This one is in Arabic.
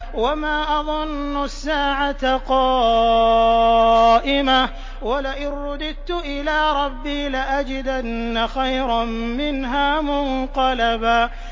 وَمَا أَظُنُّ السَّاعَةَ قَائِمَةً وَلَئِن رُّدِدتُّ إِلَىٰ رَبِّي لَأَجِدَنَّ خَيْرًا مِّنْهَا مُنقَلَبًا